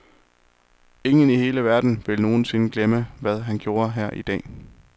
Ingen i hele verden vil nogensinde glemme, hvad han gjorde her i dag.